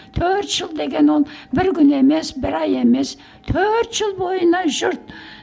төрт жыл деген ол бір күн емес бір ай емес төрт жыл бойына жұрт